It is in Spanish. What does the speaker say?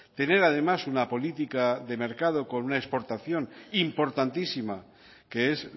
tener además una política de mercado con una exportación importantísima que es